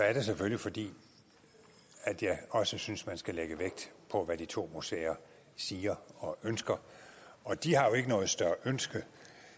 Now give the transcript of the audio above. er det selvfølgelig fordi jeg også synes at man skal lægge vægt på hvad de to museer siger og ønsker og de har jo ikke noget større ønske